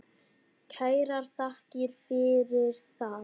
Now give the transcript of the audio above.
Kærar þakkir fyrir það.